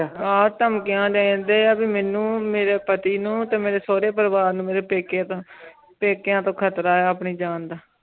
ਆਹ ਧਮਕੀਆਂ ਦੇਣੇ ਦੇ ਇਹ ਵੀ ਮੇਨੂ ਮੇਰੇ ਪਤੀ ਨੂੰ ਤੇ ਮੇਰੇ ਸਾਰੇ ਪਰਵਾਰ ਨੂੰ ਮੇਰੇ ਪੇਕੇ ਤੂੰ ਪੇਕਿਆਂ ਤੂੰ ਖ਼ਤਰਾ ਹੈ ਆਪਣੀ ਜਾਨ ਦਾ